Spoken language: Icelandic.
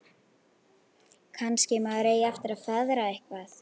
Kannski maður eigi eftir að feðra eitthvað.